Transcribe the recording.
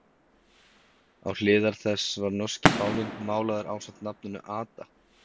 Á hliðar þess var norski fáninn málaður ásamt nafninu Ada